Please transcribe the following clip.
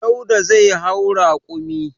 Dauda zai hau rakumi.